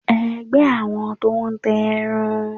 ẹgbẹ àwọn tó n tà erán